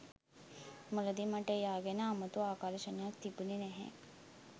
මුලදි මට එයා ගැන අමුතු ආකර්ෂණයක් තිබුණෙ නැහැ.